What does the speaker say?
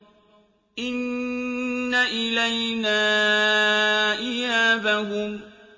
إِنَّ إِلَيْنَا إِيَابَهُمْ